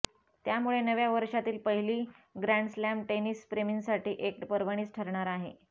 त्यामुळे नव्या वर्षातील पहिली ग्रॅण्डस्लॅम टेनिसप्रेमींसाठी एक पर्वणीच ठरणार आहे